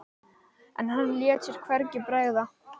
En hann lét sér hvergi bregða.